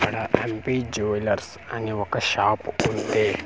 ఇక్కడ N P jewellers అని ఒక షాపు ఉంది .